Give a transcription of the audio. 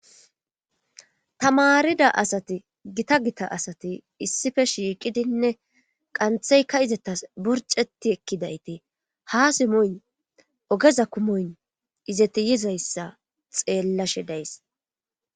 Tamarida asati gita gita asati issife shiiqidinne qantheykka izetas borceti ekkidayte ha simoy ogeza kumoyn izeti yizayssa xeellashe days.